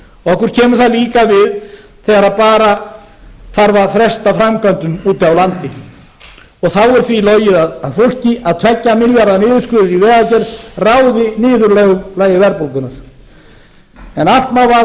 okkur kemur það líka við þegar bara þarf að fresta framkvæmdum úti á landi þá er því logið að fólki að tveggja milljarða niðurskurður í vegagerð ráði niðurlögum verðbólgunnar en allt má vaða